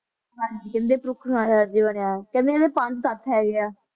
ਹਾਂਜੀ ਕਹਿੰਦੇ ਵੀ ਬਣਿਆ ਕਹਿੰਦੇ ਇਹਦੇ ਪੰਜ ਤੱਥ ਹੈਗੇ ਆ,